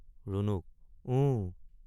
ৰুণুক— উউউ।